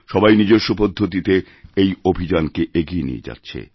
সবাই নিজস্ব পদ্ধতিতে এই অভিযানকে এগিয়ে নিয়েযাচ্ছে